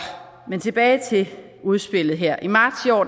men tilbage til udspillet her i marts i år